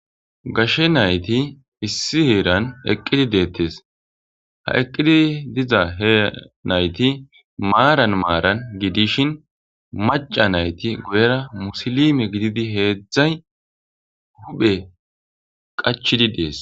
gashshe nayti issi heeran eqqidi deettes ha eqqidi diza he nayti maaran maaran gi dishin maca nayti guyera musilime gididi heedzdzay huphe qachidi dees